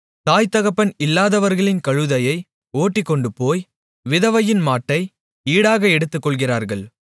தாய்தகப்பன் இல்லாதவர்களின் கழுதையை ஓட்டிக்கொண்டுபோய் விதவையின் மாட்டை ஈடாக எடுத்துக்கொள்ளுகிறார்கள்